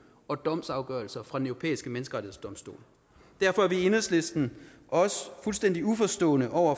og domsafgørelser fra den europæiske menneskerettighedsdomstol derfor er vi i enhedslisten også fuldstændig uforstående over